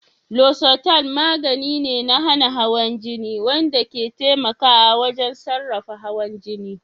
Losartan magani ne na hana hawan jini wanda ke taimakawa wajen sarrafa hawan jini.